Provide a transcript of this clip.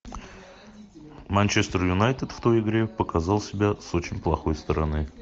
манчестер юнайтед в той игре показал себя с очень плохой стороны